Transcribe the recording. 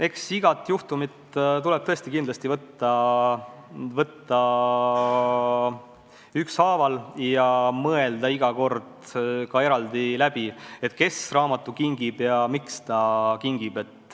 Eks igat juhtumit tuleb käsitleda eraldi ja mõelda iga kord, kes raamatu kingib ja miks ta kingib.